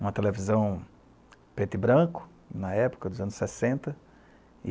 Uma televisão preta e branca, na época, dos anos sessenta. E